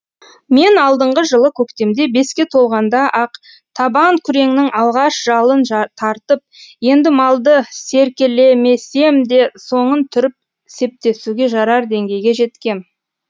мен алдыңғы жылы көктемде беске толғанда ақ табан күреңнің алғаш жалын тартып енді малды серкелемесем де соңын түріп септесуге жарар деңгейге жеткем